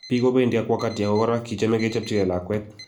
"Bik kobendi ak wakati ago kora kichame kechapchipge lakwet.